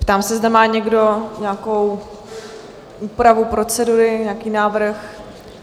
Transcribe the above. Ptám se, zda má někdo nějakou úpravu procedury, nějaký návrh?